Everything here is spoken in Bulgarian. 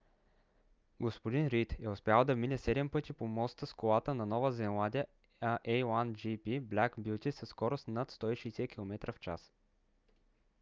г-н рийд е успял да мине седем пъти по моста с колата на нова зеландия a1gp black beauty със скорост над 160 км/ч